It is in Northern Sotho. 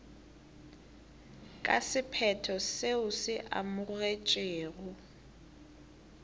ka sephetho seo se amogetšwego